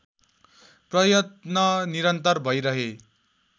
प्रयत्न निरन्तर भैरहे।